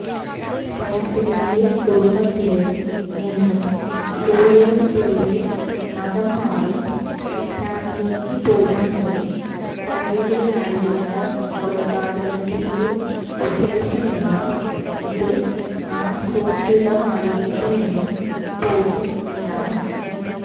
ഫൈസലിന്റെ കുടുംബത്തില് നിന്നും കൂടുതല്പേര് മതം മാറി ഇസ്ലാമിലേക്കു പോകുന്നത് തടയുകയായിരുന്നു കൊലപാതകത്തിന്റെ ഉദ്ദേശമെന്നും ഇത് ആസൂത്രിതമായിരുന്നെന്നും പോലീസ് വ്യക്തമാക്കി